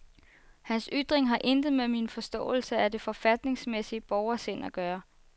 Hans ytring har intet med min forståelse af det forfatningsmæssige borgersind at gøre.